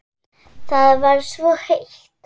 Það var svo heitt.